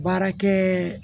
Baarakɛ